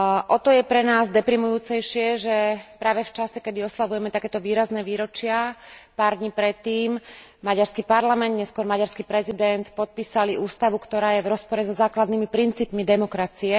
O to je pre nás deprimujúcejšie, že práve v čase, keď oslavujeme takéto výrazné výročia, pár dní predtým maďarský parlament, neskôr maďarský prezident, podpísali ústavu, ktorá je v rozpore so základnými princípmi demokracie.